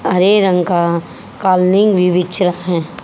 हरे रंग का कॉलिंग भी बिछ रहे--